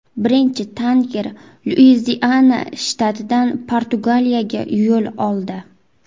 Birinchi tanker Luiziana shtatidan Portugaliyaga yo‘l oldi.